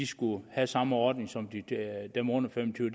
skulle have samme ordning som dem under fem og tyve